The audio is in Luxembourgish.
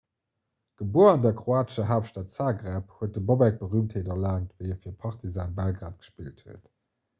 gebuer an der kroatescher haaptstad zagreb huet de bobek berüümtheet erlaangt wéi e fir partizan belgrad gespillt huet